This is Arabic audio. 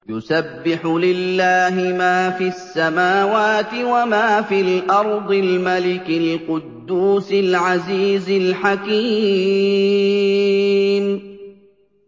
يُسَبِّحُ لِلَّهِ مَا فِي السَّمَاوَاتِ وَمَا فِي الْأَرْضِ الْمَلِكِ الْقُدُّوسِ الْعَزِيزِ الْحَكِيمِ